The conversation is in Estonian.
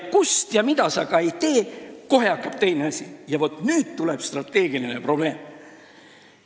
Ja vaat nüüd tuleb strateegiline probleem.